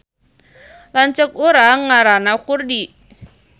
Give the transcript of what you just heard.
Lanceuk urang ngaranna Kurdi